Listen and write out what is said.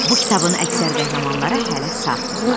Bu kitabın əksər qəhrəmanları hələ sağdırlar.